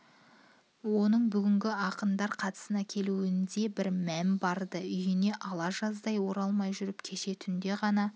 оның бүгінгі ақындар қасына келуінде бір мән бар-ды үйіне ала жаздай оралмай жүріп кеше түнде ғана